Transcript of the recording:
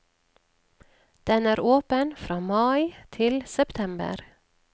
Den er åpen fra mai til september.